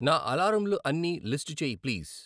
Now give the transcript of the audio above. నా అలారములు అన్నీ లిస్టు చేయి ప్లీజ్